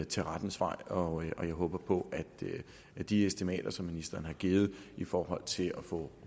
til rettens vej og jeg håber på at de estimater som ministeren har givet i forhold til at få